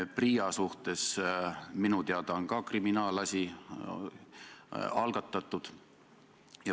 PRIA suhtes on minu teada ka kriminaalasi algatatud.